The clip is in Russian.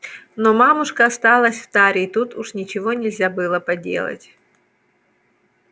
но мамушка осталась в таре и тут уж ничего нельзя было поделать